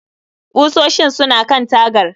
Ƙusoshin suna kan tagar